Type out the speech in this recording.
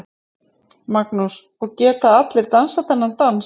Magnús: Og geta allir dansað þennan dans?